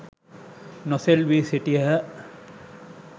නොසෙල්වී සිටියහ.